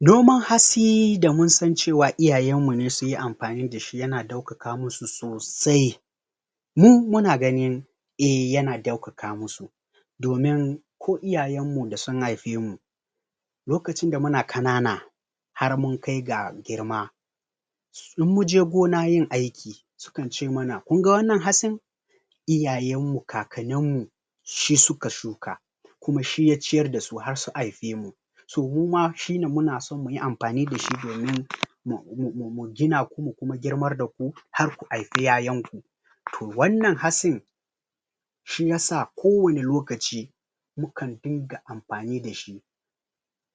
noman hatsi da mun san cewa iyayen mu ne sun yi amfani da shi ya na daukaka musu sosai mu muna gni eh yana daukaka musu domin ko iyayen mu da sun haife my lokacin da muna kanana har mun kai ga girma in mun je gona yin aiki su kan ce mana kun ga wannan hatsin iyayen mu kakanin mu shi suka shuka kuma shi ya ciyar da su har su haife mu so muma shi ne muna so mu yi amfani da shi domin mu gina ku mu girmar da ku har ku haife 'ya'yan ku toh wannan hatsin shi ya sa ko wane lokaci mu kan dinga amfani da shi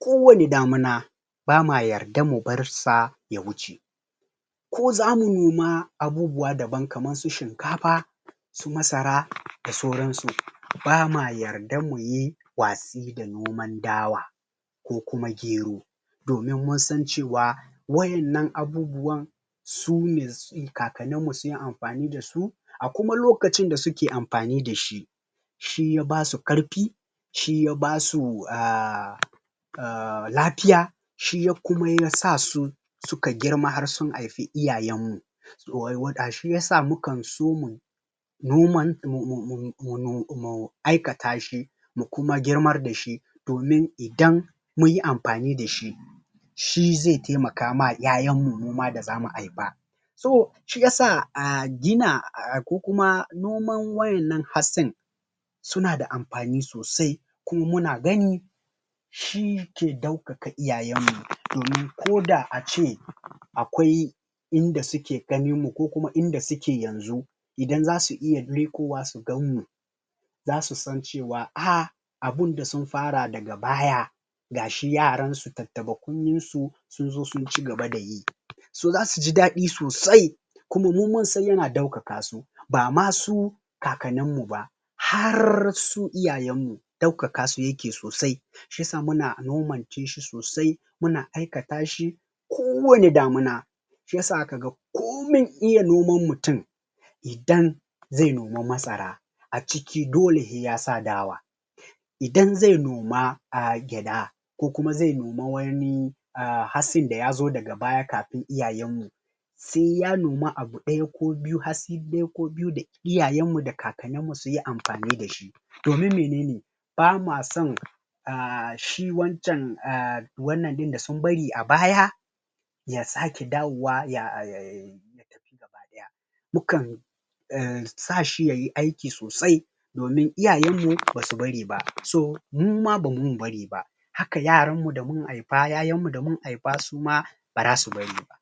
ko wane damuna ba mu wa yarda bar sa ya wuce ko zamu noma abubuwa daban kaman su shinkafa su masara da sauran su ba mu wa yarda mu yi watsi da noman dawa kokuma gero domin mun san cewa wayannan abubuwan su ne kakanin mu sunyi amfani da su a kumalokacin da su ke amfani da shi shi ya ba su karfi shi ya ba su um um lafiya shi ya kuma sa su ka girma har sun haifi iyayen mu? shi ya sa mu kan so mu mu aikata shi mu kumagirmar da shi domin idan mun yiamfanida shi shi zai taimaka ma 'ya'yan mu muma da za mu haifa so shi ya sa a gin ko kuma noman wayannan hatsin suna da amfani sosai kuma muna gani shi ke daukaka iyayen mu domin ko da a ce akwai in da suke ganin mu ko kuma inda suke yanzu idan za su iya lekowa su gan mu zasu san cewa ah abun da sun fara daga baya gashi yaran su tatabakunnen su sun zo sun cigaba da yi so zasu ji dadi sosai kuma mu mun san yana daukaka su ba ma su kakanin mu ba har su iyayen mu daukaka su yake sosai shi ya sa muna nomance shi sosai muna aikata shi kowane damuna shi yasa aka ga komin iya noman mutum idan zai noma masara a ciki dole sai ya sa dawa idan zai noma um gyada kokuma zai noma wani hatsin da ya zo daga baya kafin iyayenmu sai ya noma abu daya ko biyu hatsi daya ko biyu da iyayen mu da kakanin mu sun yi amfani da shi domin menene ba mu wa son um shi wancan um shi wannan din da sun bari a baya ya sake dawowa ya mu kan sa shi yayi aiki sosai domin iyayenmu basu bari ba so mu ma ba mun bari ba haka yaran mu da mun haifa 'ya'yan mu da mun haifa su ma baza su bari ba